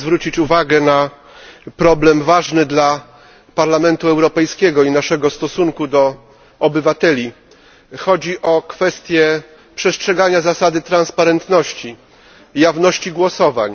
Chcę zwrócić uwagę na problem ważny dla Parlamentu Europejskiego i naszego stosunku do obywateli. Chodzi o kwestie przestrzegania zasady transparentności i jawności głosowań.